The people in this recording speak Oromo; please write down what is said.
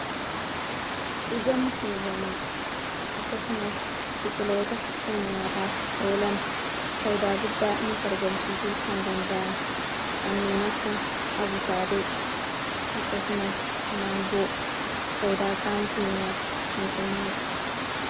Ija mukeewwanii akkasumas biqiloota kan nyaataaf oolan faaydaaguddaa nuuf argamsiisu kan danda'an kanniin akka abukaadoo akkasumas mangoo faaydaa qaama keenyaaf kan kennaniidha.